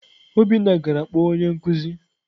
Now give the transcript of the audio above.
Obinna gara kpọọ onye nkuzi.